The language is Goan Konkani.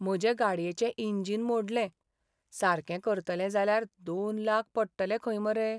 म्हजे गाडयेचें इंजिन मोडलें. सारकें करतले जाल्यार दोन लाख पडटले खंय मरे.